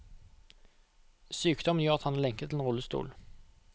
Sykdommen gjør at han er lenket til en rullestol.